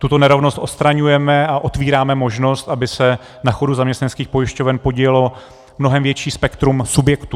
Tuto nerovnost odstraňujeme a otvíráme možnost, aby se na chodu zaměstnaneckých pojišťoven podílelo mnohem větší spektrum subjektů.